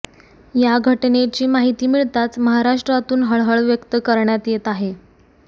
या घटनेची माहिती मिळताच महाराष्ट्रातून हळहळ व्यक्त करण्यात येत आहे